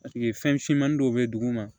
Paseke fɛn finmanin dɔ bɛ duguma